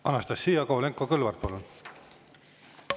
Anastassia Kovalenko-Kõlvart, palun!